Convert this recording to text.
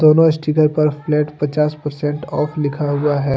दोनों स्टीकर पर फ्लैट पचास परसेंट ऑफ लिखा हुआ है।